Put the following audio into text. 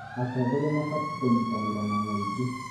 Atongoria mabatiĩ kũnyitanĩra na mũingĩ.